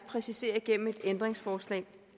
præcisere igennem et ændringsforslag